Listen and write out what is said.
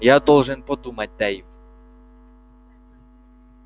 я должен подумать дейв